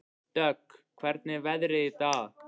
Dögg, hvernig er veðrið í dag?